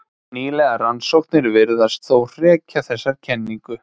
Nýlegar rannsóknir virðast þó hrekja þessa kenningu.